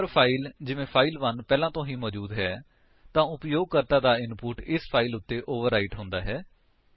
ਜੇਕਰ ਫਾਇਲ ਜਿਵੇਂ ਫਾਈਲ1 ਪਹਿਲਾਂ ਤੋਂ ਹੀ ਮੌਜੂਦ ਹੈ ਤਾਂ ਉਪਯੋਗਕਰਤਾ ਦਾ ਇਨਪੁਟ ਇਸ ਫਾਇਲ ਉੱਤੇ ਓਵਰਰਾਇਟ ਹੁੰਦਾ ਹੈ